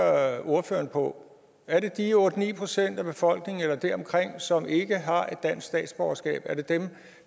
ordføreren på er det de otte ni procent af befolkningen eller deromkring som ikke har et dansk statsborgerskab er det dem